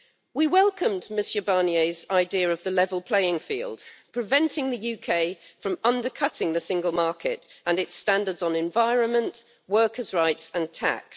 We welcomed Mr Barnier's idea of the level playing field, preventing the UK from undercutting the single market and its standards on environment, workers' rights and tax.